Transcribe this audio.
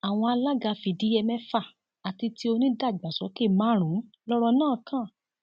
àwọn alága fìdíhe mẹfà àti ti onídàgbàsókè márùnún lọrọ náà kàn